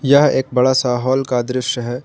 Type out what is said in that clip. यह एक बड़ा सा हॉल का दृश्य है।